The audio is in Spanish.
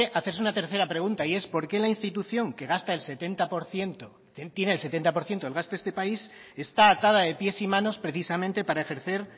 hacerse una tercera pregunta y es por qué la institución que gasta el setenta por ciento tiene el setenta por ciento del gasto de este país está atada de pies y manos precisamente para ejercer